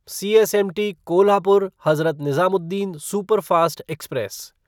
CSMT Kolhapur Hazrat Nizamuddin superfast express